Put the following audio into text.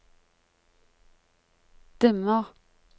dimmer